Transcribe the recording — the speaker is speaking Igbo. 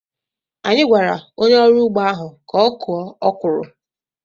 Anyị gwara onye ọrụ ugbo ahụ ka ọ kụọ okwuru.